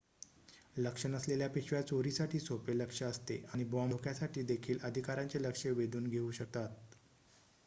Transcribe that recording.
लक्ष नसलेल्या पिशव्या चोरीसाठी सोपे लक्ष्य असते आणि बॉम्ब धोक्यासाठी देखील अधिकाऱ्यांचे लक्ष वेधून घेऊ शकतात